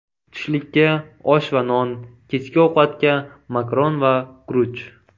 Tushlikka osh va non, kechki ovqatga makaron va guruch.